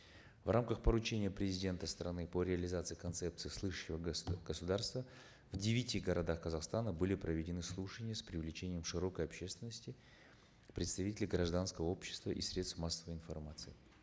в рамках поручения президента страны по реализации концепции слышащего государства в девяти городах казахстана были проведены слушания с привлечением широкой общественности представителей гражданского общества и средств массовой информации